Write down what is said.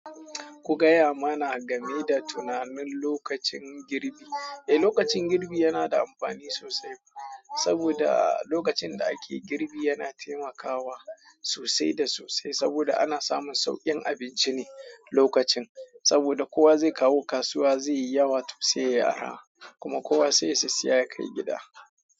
Ku gaya mana game da tunanin lokacin girbi. Eh, lokacin girbi yana da amfani sosai. Saboda lokacin da ake girbi yana taimakawa sosai da sosai. Saboda ana samun sauƙin abinci ne lokacin. Saboda kowa zai kawo kasuwa zai yi yawa to sai yayi arha. Kuma kowa sai ya sissiya ya kai gida.